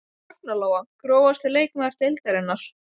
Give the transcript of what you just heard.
Ragna Lóa Grófasti leikmaður deildarinnar?